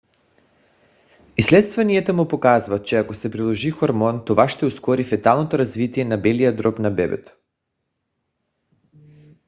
изследванията му показват че ако се приложи хормон това ще ускори феталното развитие на белия дроб на бебето